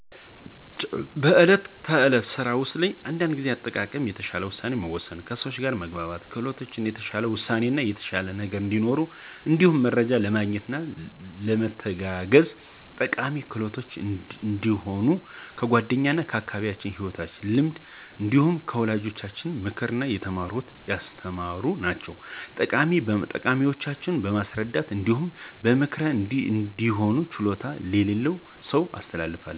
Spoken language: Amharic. በዕለት ተዕለት ስራ ውስጥ እንደ ጊዜ አጠቃቀም፣ የተሻለ ውሳኔ መወሰን፣ ከሰው ጋር መግባባት ክህሎቶች የተሻለ ውጤት የተሻለ ነገ እዲኖረን እንዲሁም መረጃ ለማግኘት ለመተጋገዝ ጠቃሚ ክህሎቶች እንደሆኑ ከ ጓደኛ ከ አካባቢየ ከ ሂወት ልምድ እንዲሁም ከ ወላጆቼ ምክር የተማረኩት ያስተማሩ ናቸዉ። ጠቀሜታቸው በማስረዳት እንዲሁም በ ምክር እነዚህን ችሎታዎች ለሌላ ሰው አስተላልፋለሁ።